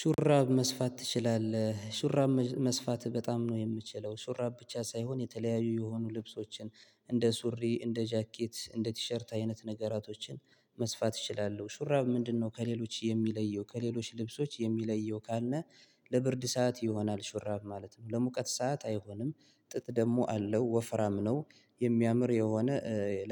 ሹራብ መስፋት ትችላለህ? ሹራብ መስፋት በጣም ነው የምችለው ሹራብ ብቻ ሳይሆን የተለያዩ የሆኑ ልብሶችን፤ እንደ ሱሪ፤ እንደ ጃኬት፤ እንደ ቲሸርት አይነት ነገራቶችን መስፋት እችላለሁ። ሹራብ ምንድነው ከሌሎች የሚለየው ከሌሎች ልብሶች የሚለየው ካለ ለብርድ ሰዓት ይሆናል ሹራብ ማለት ነው፤ ለሙቀት ሰዓት አይሆንም ጥጥ ደግሞ አለው ወፍራም ነው የሚያምር የሆነ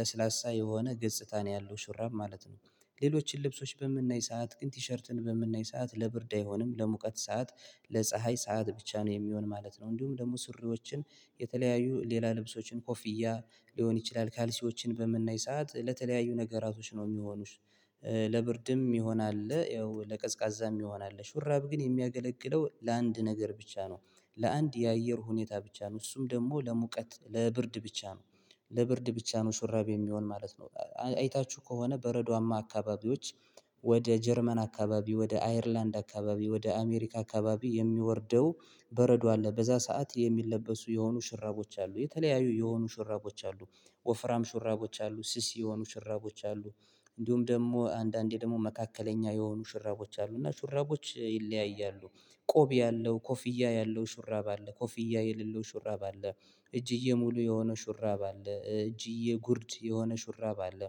ለስላሳ የሆነ ገጽታ ነው ያለው ሽራብ ማለት ነው። ሌሎችን ልብሶች በምናይ ሰዓት ግን ቲሸርትን በምናይ ሰዓት ለብርድ አይሆንም ለሙቀት ሰዓት ለፀሀይ ሰዓት ብቻ ነው የሚሆን ማለት ነው። እንዲሁም ደግሞ ስሪዎችን የተለያዩ ሌላ ልብሶችን ኮፊያ ሊሆን ይችላል ካልሲዎችን በመናይ ሰዓት ለተለያዩ ነገራቶች ነው የሚሆኑት ለብርድም ይሆናል ያው ለቀዝቃዛም ይሆናል ሹራብ ግን የሚያገለግለው ለአንድ ነገር ብቻ ነው ለአንድ የአየር ሁኔታ ብቻ ነው እሱም ደግሞ ለሙቀት ለብርድ ብቻ ነው ለብርድ ብቻ ነው ሱራቤ የሚሆን ማለት ነው። አይታችሁ ከሆነ በረዷማ አካባቢዎች ወደ ጀርመን አካባቢ ወደ አይርላንድ አካባቢ ወደ አሜሪካ አካባቢ የሚወርደው በረዶ አለ በዛ ሰዓት የሚለበሱ የሆኑ ሽራቦች አሉ የተለያዩ የሆኑ ሽራቦች አሉ፤ ወፍራም ሽራቦች አሉ ስስ የሆኑ ሽራቦች አሉ፤ እንዲሁም ደግሞ አንዳንዴ ደግሞ መካከለኛ የሆኑ ሽራቦች አሉ። እና ሽራቦች ይለያያሉ ቆብ ያለው ኮፍያ ያለው ሽራብ አለ ኮፊያ የሌለው ሹራብ አለ እጅዬ ሙሉ የሆነ ሹራብ አለ እጅዬ ጉርድ የሆነ ሹራብ አለ።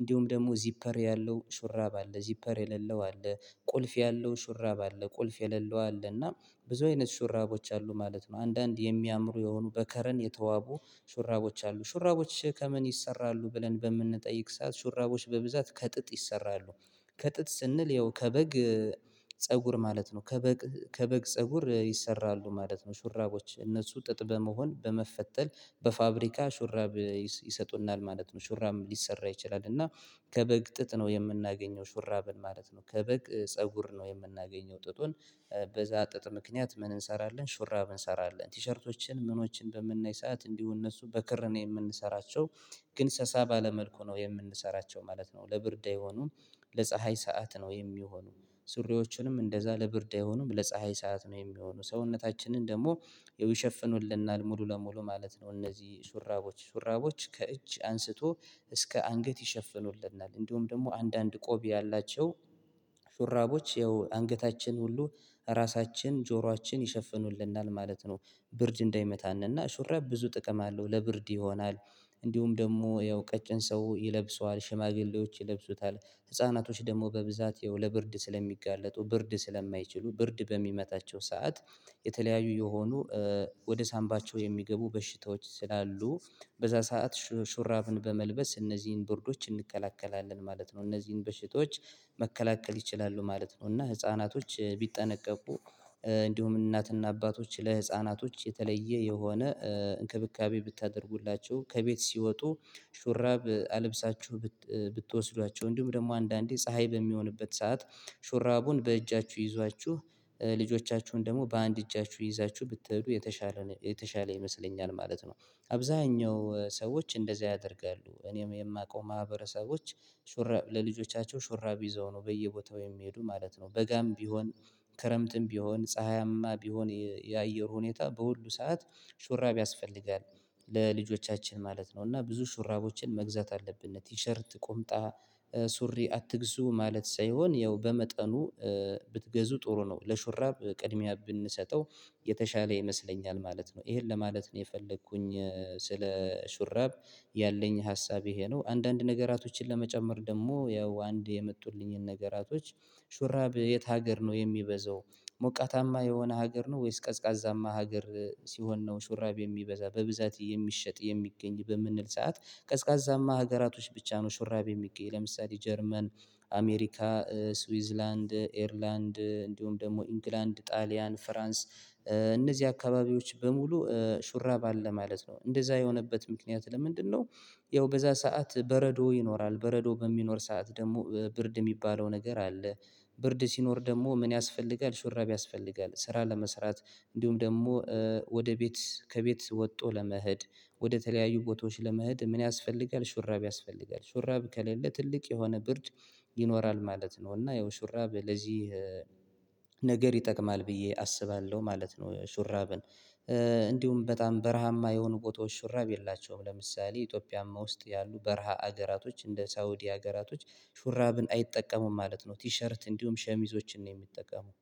እንዲሁም ደግሞ ዚፐር ያለው ሹራብ አለ፤ ዚፐር የሌለው አለ፤ ቁልፍ ያለው ሹራብ አለ፤ ቁልፍ የሌለው አለና ብዙ አይነት ሹራቦች አሉ ማለት ነው። አንዳንድ የሚያምሩ የሆኑ በከረን የተዋቡ ሹራቦች አሉ ሹራቦች ከምን ይሰራሉ ብለን በምንጠይቅ ሰዓት ሹራቦች በብዛት ከጥጥ ይሰራሉ። ከጥጥ ስንል ያው ከበግ ፀጉር ማለት ነው ከበግ ከበግ ፀጉር ይሰራሉ ማለት ነው። ሹራቦች እነሱ ጥጥ በመሆን በመፈተል በፋብሪካ ሹራብ ይሰጡናል ማለት ነው ሹራብ ሊሰራ ይችላል እና ከበግ ጥጥ ነው የምናገኘው ሹራብን ማለት ነው ከበግ ፀጉር ነው የምናገኘው ጥጡን። በዛ ጥጥ ምክንያት ምን እንሰራለን ሹራብ እንሰራለን ቲሸርቶችን ምኖችን በምናይ ሰዓት እንዲሁ እነሱ በክር ነው የምንሰራቸው። ግን ሰሳ ባለ መልኩ ነው የምንሰራቸው ማለት ነው ለብርድ የሆኑን ለፀሀይ ሰዓት ነው የሚሆኑ ሱሪዎችንም እንደዛ ለብርድ አይሆኑም ለፀሀይ ሰዓት ነው የሚሆኑ ሰውነታችንን ደግሞ ይሸፍኑልናል ሙሉ ለሙሉ ማለት ነው እነዚህ ሱራቦች ሱራቦች ከእጅ አንስቶ እስከ አንገት ይሸፍኑልናል እንዲሁም ደግሞ አንዳንድ ቆቢ ያላቸው ሹራቦች ያው አንገታችን ሁሉ ራሳችን ጆሯችን ይሸፍኑልናል ማለት ነው ብርድ እንዳይመታ እና ሹራብ ብዙ ጥቅም አለው ለብርድ ይሆናል እንዲሁም ደግሞ ያው ቀጭን ሰው ይለብሰዋል፤ ሽማግሌዎች ይለብሱታል፤ ህፃናቶች ደግሞ በብዛት የውለ ብርድ ስለሚጋለጡ ብርድ ስለማይችሉ ብርድ በሚመታቸው ሰዓት የተለያዩ የሆኑ ወደ ሳምባቸው የሚገቡ በሽታዎች ስላሉ በዛ ሰዓት ሹራብን በመልበስ እነዚህን ብርዶች እንከላከላለን ማለት ነው። እነዚህን በሽቶች መከላከል ይችላሉ ማለት ነው እና ህፃናቶች ቢጠነቀቁ እንዲሁም እናትና አባቶች ለህፃናቶች የተለየ የሆነ እንክብካቤ ብታደርጉላቸው ከቤት ሲወጡ ሹራብ አለብሳችሁ ብትወስዷቸው እንዲሁም ደግሞ አንዳንዴ ፀሀይ በሚሆንበት ሰዓት ሹራቡን በእጃችሁ ይዟችሁ ልጆቻችሁን ደግሞ በአንድ እጃችሁ ይዛችሁ ብትሄዱ የተሻለ ነው። የተሻለ ይመስለኛል ማለት ነው አብዛኛው ሰዎች እንደዚህ ያደርጋሉ እኔም የማውቀው ማህበረሰቦች ሹራ ለልጆቻቸው ሹራብ ይዘው ነው በየቦታው የሚሄዱ ማለት ነው። በጋም ቢሆን ክረምትም ቢሆን ፀሀያማ ቢሆን የአየር ሁኔታ በሁሉ ሰዓት ሹራብ ያስፈልጋል። ለልጆቻችን ማለት ነው እና ብዙ ሹራቦችን መግዛት አለብን ቲሸርት ቁምጣ ሱሪ አትግዙ ማለት ሳይሆን ያው በመጠኑ ብትገዙ ጥሩ ነው ለሹራብ ቅድሚያ ብንሰጠው የተሻለ ይመስለኛል ማለት ነው። ይሄን ለማለት ነው የፈለኩኝ ስለ ሹራብ ያለኝ ሀሳብ ይሄ ነው አንዳንድ ነገራቶችን ለመጨመር ደግሞ ያው አንድ የመጡልኝን ነገራቶች ሹራብ የት ሀገር ነው የሚበዛው ሞቃታማ የሆነ ሀገር ነው ወይስ ቀዝቃዛማ ሀገር ሲሆን ነው ሹራብ የሚበዛ በብዛት የሚሸጥ የሚገኝ በምንል ሰዓት ቀዝቃዛማ ሀገራቶች ብቻ ነው ሽራቤ የሚገኝ ለምሳሌ ጀርመን አሜሪካ፤ ስዊዝላንድ፤ ኤርላንድ፤ እንዲሁም ደግሞ ኢንግላንድ፤ ጣሊያን፤ ፍራንስ እነዚህ አካባቢዎች በሙሉ ሹራብ አለ ማለት ነው። እንደዛ የሆነበት ምክንያት ለምንድነው ያው በዛ ሰዓት በረዶ ይኖራል በረዶ በሚኖር ሰዓት ደግሞ ብርድ የሚባለው ነገር አለ ብርድ ሲኖር ደግሞ ምን ያስፈልጋል ሽረብ ያስፈልጋል ስራ ለመስራት እንዲሁም ደግሞ ወደ ቤት ከቤት ወጥቶ ለመሄድ ወደ ተለያዩ ቦታዎች ለመሄድ ምን ያስፈልጋል ሹራብ ያስፈልጋል ሹራብ ከሌለ ትልቅ የሆነ ብርድ ይኖራል ማለት ነው እና ያው ሹራብ ለዚህ ነገር ይጠቅማል ብዬ አስባለሁ ማለት ነው ሹራብን እንዲሁም በጣም በረሃማ የሆኑ ቦታዎች ሽረብ የላቸውም ለምሳሌ ኢትዮጵያም ውስጥ ያሉ በረሃ ሀገራቶች እንደ ሳውዲ ሀገራቶች ሹራብን አይጠቀሙም ማለት ነው ቲሸርት እንዲሁም ሸሚዞችን ነው የሚጠቀሙት።